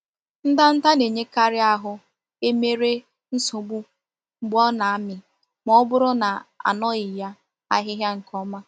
Ndanda na-enyekari ahu emere nsogbu mgbe o na-ami ma o buru na anoghi ya ahihia nke oma.